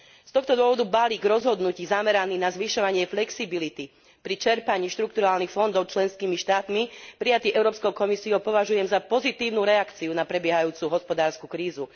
Z tohto dôvodu balík rozhodnutí zameraný na zvyšovanie flexibility pri čerpaní štrukturálnych fondov členskými štátmi, prijatý Európskou komisiou, považujem za pozitívnu reakciu na prebiehajúcu hospodársku krízu.